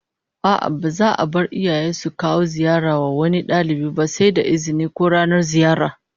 A'a, ba za'a bar iyaye su kawo ziyara wa wani dalibi ba sai da izini, ko ranar ziyara